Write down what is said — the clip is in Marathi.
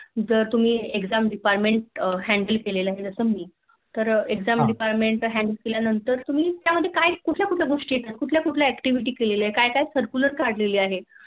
जे तुम्ही Exam departmnet Handle केले आहे जस मी तर Exam department handle केल्यानंतर तुम्ही त्याच्या मध्ये काय कुठल्या कुठल्या गोष्टी येतात कुठल्या कुठल्या Activity केलेल्या आहे काय काय Circular काढलेले